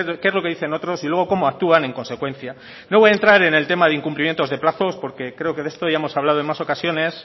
qué es lo que dicen otros y luego cómo actúan en consecuencia no voy a entrar en el tema de incumplimientos de plazos porque creo que de esto ya hemos hablado en más ocasiones